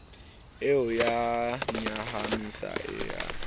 e a nyahamisa e a